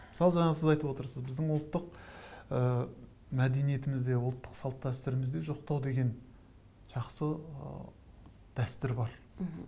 мысалы жаңа сіз айтып отырсыз біздің ұлттық ыыы мәдениетімізде ұлттық салт дәстүрімізде жоқтау деген жақсы ыыы дәстүр бар